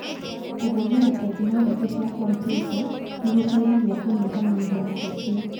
Kũhũthĩra tekinoronjĩ cia kompiuta nĩ gũteithagia kũnyihanyihia mahĩtia.